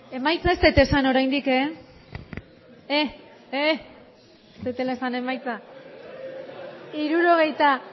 emaitza ez dut esan oraindik ez dudala esan emaitza emandako botoak hirurogeita